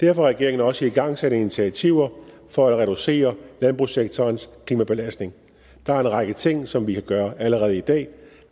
har regeringen også igangsat initiativer for at reducere landbrugssektorens klimabelastning der er en række ting som vi kan gøre allerede i dag